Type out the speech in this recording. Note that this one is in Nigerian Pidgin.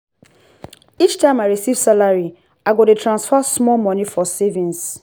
each time i receive salary i go dey transfer small money for savings.